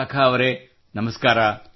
ವಿಶಾಖಾ ಅವರೇ ನಮಸ್ಕಾರ